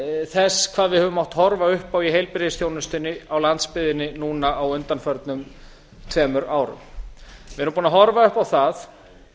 þess hvað við höfum mátt horfa upp á í heilbrigðisþjónustunni á landsbyggðinni núna á undanförnum tveimur árum við erum búin að horfa upp á það